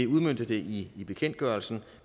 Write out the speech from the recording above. udmønte det i bekendtgørelsen